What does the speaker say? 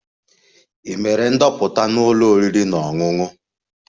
Ị mere ndoputa na ụlọ oriri na ọṅụṅụ?